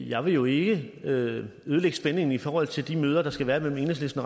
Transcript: jeg vil jo ikke ødelægge spændingen i forhold til de møder der skal være mellem enhedslisten